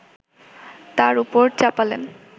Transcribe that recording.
তার ওপর চাপালেন